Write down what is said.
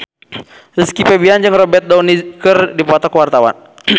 Rizky Febian jeung Robert Downey keur dipoto ku wartawan